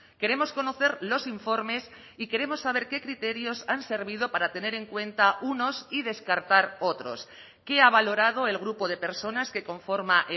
queremos conocer los informes y queremos saber qué criterios han servido para tener en cuenta unos y descartar otros qué ha valorado el grupo de personas que conforma